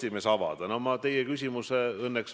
Te teate seda, et ENPA-s on esindatud Riigikogu erakonnad.